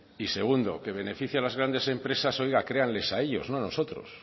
y segundo que beneficia las grandes empresas oiga créanles a ellos no a nosotros